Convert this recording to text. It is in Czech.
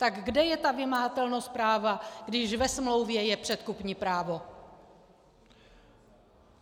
Tak kde je ta vymahatelnost práva, když ve smlouvě je předkupní právo?